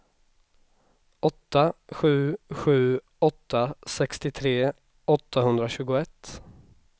åtta sju sju åtta sextiotre åttahundratjugoett